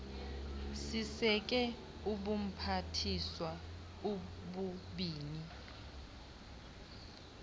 siseke ubuphathiswa obubini